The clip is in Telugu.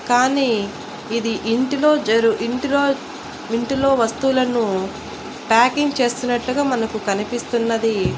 కానీ ఇది ఇంటిలో జరు ఇంటిలో ఇంటిలో వస్తువులను ప్యాకింగ్ చేస్తున్నట్లుగా మనకు కనిపిస్తున్నదీ.